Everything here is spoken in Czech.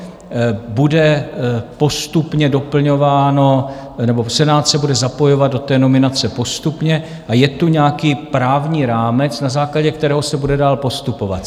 Bude postupně doplňováno nebo Senát se bude zapojovat do té nominace postupně a je tu nějaký právní rámec, na základě kterého se bude dál postupovat.